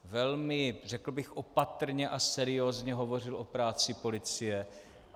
Velmi řekl bych opatrně a seriózně hovořil o práci policie.